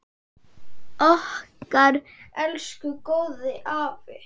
Okkar elsku góði afi!